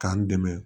K'an dɛmɛ